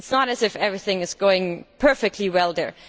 it is not as if everything is going perfectly well there.